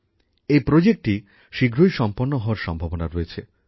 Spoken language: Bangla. এই প্রোজেক্টটি শীঘ্রই সম্পন্ন হওয়ার সম্ভাবনা রয়েছে